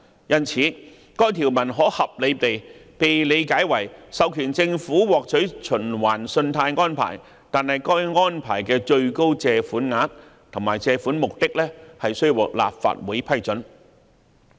因此，該條可合理地被理解為授權政府獲取循環信貸安排，但該安排的最高借款額及借款目的須獲立法會批准。